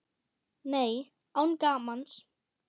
Nei, án gamans.